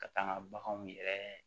Ka taa n ka baganw yɛrɛ